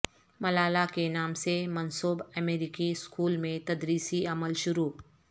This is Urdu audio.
ملالہ کے نام سے منسوب امریکی اسکول میں تدریسی عمل شروع